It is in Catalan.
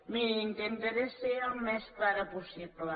mirin intentaré ser el més clara possible